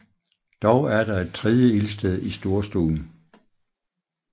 Dog er der et tredje ildsted i storstuen